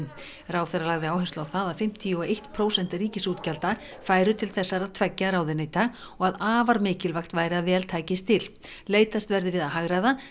ráðherra lagði áherslu á það að fimmtíu og eitt prósent ríkisútgjalda færu til þessara tveggja ráðuneyta og að afar mikilvægt væri að vel tækist til leitast verði við að hagræða